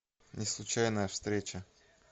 неслучайная встреча